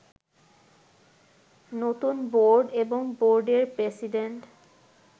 নতুন বোর্ড এবং বোর্ডের প্রেসিডেন্ট